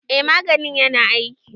eh maganin yana aiki.